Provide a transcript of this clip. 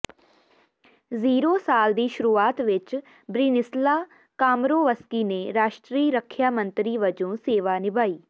zero ਸਾਲ ਦੀ ਸ਼ੁਰੂਆਤ ਵਿੱਚ ਬ੍ਰਿਨਿਸਲਾ ਕਾਮਰੋਵਸਕੀ ਨੇ ਰਾਸ਼ਟਰੀ ਰੱਖਿਆ ਮੰਤਰੀ ਵਜੋਂ ਸੇਵਾ ਨਿਭਾਈ